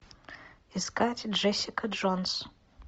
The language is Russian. искать джессика джонс